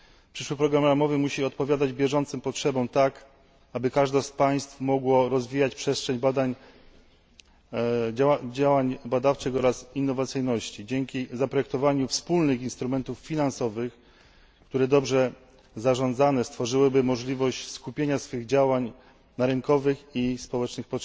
Przyszły program ramowy musi odpowiadać bieżącym potrzebom tak, aby każde z państw mogło rozwijać przestrzeń badań, działań badawczych oraz innowacyjności dzięki zaprojektowaniu wspólnych instrumentów finansowych, które dobrze zarządzane stworzyłyby możliwość skupienia działań na potrzebach rynkowych i społecznych.